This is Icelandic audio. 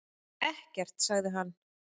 Ekkert, sagði hann.